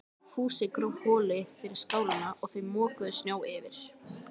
Fúsi gróf holu fyrir skálina og þau mokuðu snjó yfir.